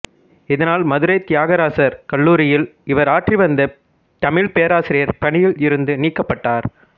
இதனால் மதுரை தியாகராசர் கல்லூரியில் இவர் ஆற்றிவந்த தமிழ்ப் பேராசிரியர் பணியில் இருந்து நீக்கப்பட்டார்